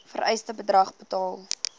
vereiste bedrag betaal